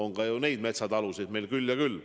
Niisuguseid metsatalusid on meil küll ja küll.